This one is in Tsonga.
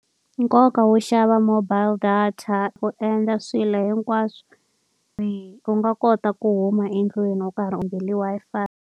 Nkoka wo xava mobile data u endla swilo hinkwaswo . U nga kota ku huma endlwini u karhi u .